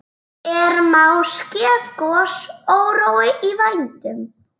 Er máske gosórói í vændum?